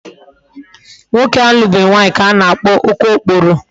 Nwoke na-alubeghi nwaanyi ka a na-akpo okookporo